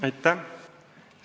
Aitäh!